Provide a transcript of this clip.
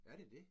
Er det det?